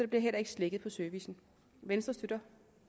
bliver heller ikke slækket på servicen venstre støtter